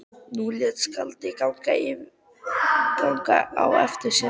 Nú lét skáldið ganga á eftir sér.